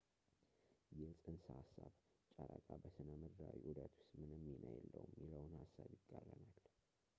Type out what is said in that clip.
ይህ ፅንሰ ሐሳብ ጨረቃ በሥነ ምድራዊ ዑደት ውስጥ ምንም ሚና የለውም የሚለውን ሐሳብ ይቃረናል